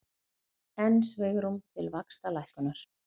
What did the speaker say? Enn svigrúm til vaxtalækkunar